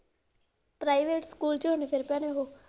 Private school ਚ ਹੁਣ ਫਿਰ ਪਾਏ ਨੇ ਉਹ।